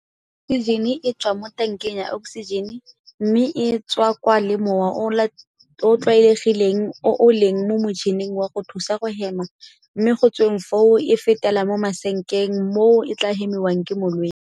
Oksijene e tswa mo tankeng ya oksijene mme e tswakwa le mowa o o tlwaelegileng o o leng mo motšhining wa go thusa go hema mme go tsweng foo e fetela mo masekeng moo e tla hemiwang ke molwetse.